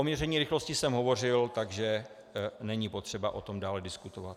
O měření rychlosti jsem hovořil, takže není potřeba o tom dále diskutovat.